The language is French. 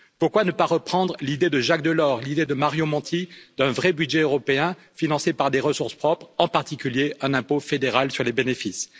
Pourquoi ne pas reprendre l'idée de Jacques Delors, l'idée de Mario Monti, d'un vrai budget européen financé par des ressources propres, en particulier un impôt fédéral sur les bénéfices?